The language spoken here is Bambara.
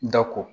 Da ko